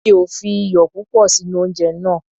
Mi ò fi iyò púpọ̀ sí inú oúnje náà.